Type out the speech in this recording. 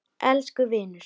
Elsku vinur.